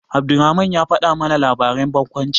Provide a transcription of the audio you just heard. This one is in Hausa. Abdulrahman ya faɗa mana labarin barkwanci.